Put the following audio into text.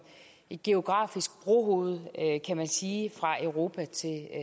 et geografisk brohoved kan man sige fra europa til